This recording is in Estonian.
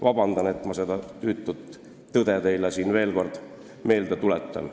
Vabandust, et ma seda tüütut tõde teile siin veel kord meelde tuletan.